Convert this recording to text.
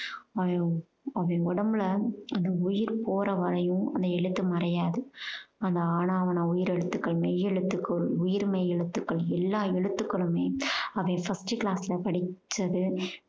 அய்யோ அப்படி உடம்புல அந்த உயிர் போற வரையும் அந்த எழுத்து மறையாது. அந்த ஆனா ஆவன்னா உயிர் எழுத்துகள் மெய் எழுத்துக்கள் உயிர் மெய் எழுத்துக்கள் எல்லா எழுத்துக்களுமே அவன் first class ல படிச்சது